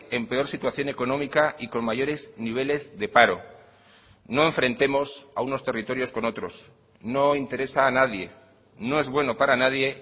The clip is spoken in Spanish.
en peor situación económica y con mayores niveles de paro no enfrentemos a unos territorios con otros no interesa a nadie no es bueno para nadie